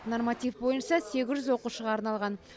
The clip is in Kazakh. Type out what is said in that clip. норматив бойынша сегіз жүз оқушыға арналған